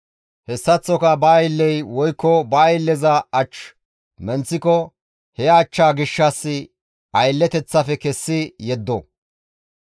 Hessaththoka ba aylley woykko ba aylleza ach menththiko he achchaa gishshas aylleteththafe kessi yeddo.